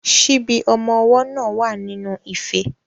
Ṣíbí ọmọ ọwọ́ náà wà nínú ife.